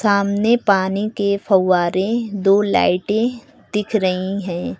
सामने पानी के फव्वारे दो लाइटें दिख रही हैं।